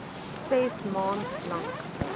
ses maand lank